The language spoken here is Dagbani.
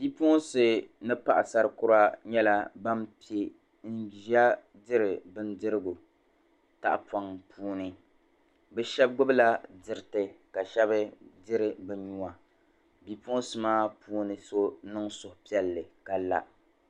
Bi'puɣunsi ni paɣasari kura nyɛla ban pɛ n-ʒiya diri bindirigu taɣipɔŋ'puuni bɛ shɛba gbubi la diriti ka shɛba diri bɛ nua bi'punsi maa puuni so niŋ suhupiɛlli ka la